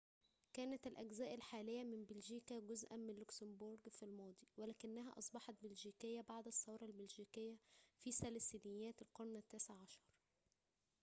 كانت الأجزاء الحالية من بلجيكا جزءاً من لوكسمبورغ في الماضي ولكنها أصبحت بلجيكية بعد الثورة البلجيكية في ثلاثينيات القرن التاسع عشر